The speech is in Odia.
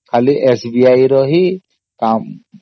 କେବଳ SBI ରେ ହିଁ କାମ ହବ ଆଉ ହବନି